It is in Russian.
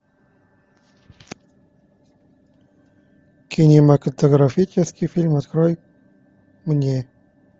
кинематографический фильм открой мне